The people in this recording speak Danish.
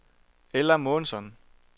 Ella Månsson